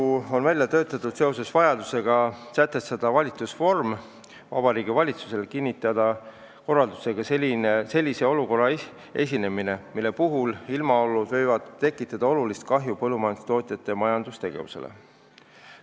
See on välja töötatud seoses vajadusega sätestada volitusnorm Vabariigi Valitsusele kinnitada korraldusega sellise olukorra esinemine, mille puhul ilmaolud võivad tekitada olulist kahju põllumajandustootjate majandustegevusele.